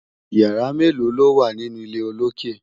yàrá melo lowa nínú ilé olokè?